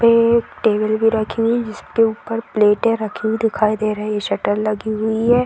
पे एक टेबल भी रखी हुई जिसके ऊपर प्लेटे रखी हुई दिखाई दे रही शटर लगी हुई है।